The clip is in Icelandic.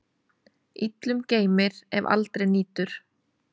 Illum geymir, ef aldrei nýtur.